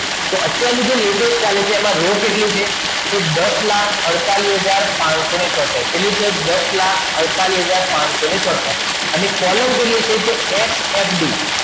કે અત્યારનું જે latest ચાલે છે તેમાં રો કેટલી છે તો દસ લાખ અડતાલીસ હજાર પચસો છોતેર કેટલી છે દસ લાખ અડતાલીસ હજાર પચસો છોતેર હવે કોલમ કેટલી છે તો ffd